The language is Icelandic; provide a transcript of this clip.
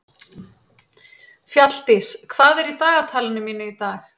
Fjalldís, hvað er í dagatalinu mínu í dag?